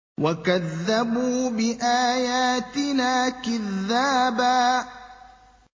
وَكَذَّبُوا بِآيَاتِنَا كِذَّابًا